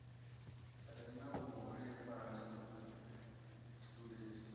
re na vhuholefhali u pfumbisa